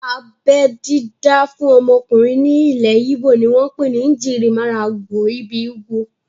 Abẹ́ dídá fún ọmọkùnrin ní ilẹ̀ íbò ni wọ́n pè ní "Njirimaralgbo ibi ugwu"